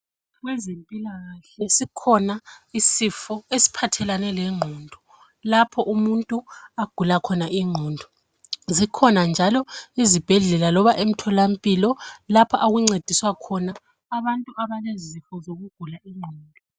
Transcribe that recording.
Kwezempilakahle sikhona isifo esiphathelane lengqondo lapho umuntu agula khona ingqondo zikhona njalo izibhedlela loba emtholampilo lapha okuncediswa khona abantu abalezifo zokugula ingqondo.